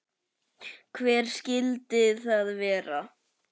Hver skyldi það vera?